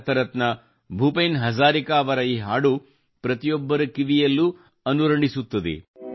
ಭಾರತ ರತ್ನ ಭೂಪೇನ್ ಹಜಾರಿಕಾ ಅವರ ಈ ಹಾಡು ಪ್ರತಿಯೊಬ್ಬರ ಕಿವಿಯಲ್ಲೂ ಅನುರಣಿಸುತ್ತದೆ